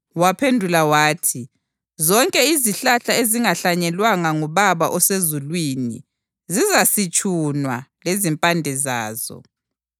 Waphendula wathi, “Zonke izihlahla ezingahlanyelwanga nguBaba osezulwini zizasitshunwa lezimpande zazo.